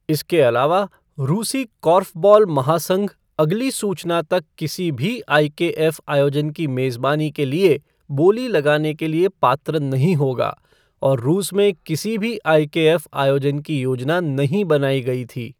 इसके अलावा, रूसी कॉर्फ़बॉल महासंघ अगली सूचना तक किसी भी आईकेएफ़ आयोजन की मेज़बानी के लिए बोली लगाने के लिए पात्र नहीं होगा और रूस में किसी भी आईकेएफ़ आयोजन की योजना नहीं बनाई गई थी।